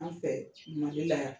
An fɛ Mali la yan